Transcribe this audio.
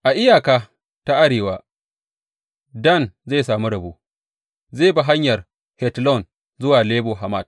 A iyaka ta arewa, Dan zai sami rabo; zai bi hanyar Hetlon zuwa Lebo Hamat.